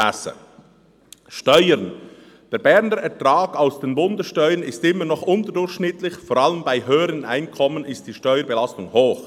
«Steuern: Der Berner Ertrag aus den Bundessteuern ist immer noch unterdurchschnittlich, vor allem bei höheren Einkommen ist die Steuerbelastung hoch.